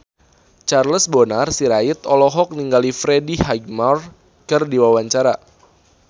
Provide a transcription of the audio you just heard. Charles Bonar Sirait olohok ningali Freddie Highmore keur diwawancara